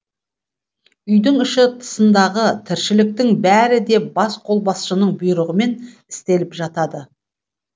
үйдің іші тысындағы тіршіліктің бәрі де бас қолбасшының бұйрығымен істеліп жатады